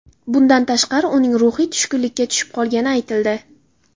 Bundan tashqari uning ruhiy tushkunlikka tushib qolgani aytildi.